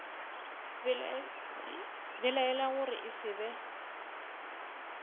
belaela gore e se be